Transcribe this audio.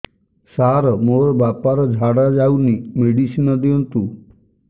ସାର ମୋର ବାପା ର ଝାଡା ଯାଉନି ମେଡିସିନ ଦିଅନ୍ତୁ